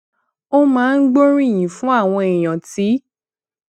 ó máa ń gbóríyìn fún àwọn èèyàn tí